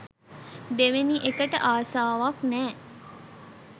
දෙවෙනි එකට ආසාවක් නෑ.